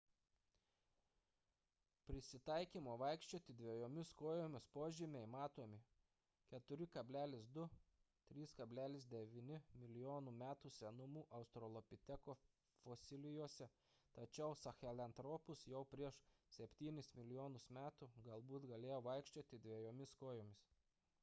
prisitaikymo vaikščioti dviejomis kojomis požymiai matomi 4,2–3,9 mln. metų senumo australopiteko fosilijose tačiau sahelanthropus jau prieš septynis milijonus metų galbūt galėjo vaikščioti dviejomis kojomis